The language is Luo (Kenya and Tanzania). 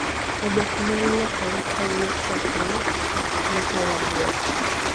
oboke nyalo lokore kawuok ratong' yaka rabuor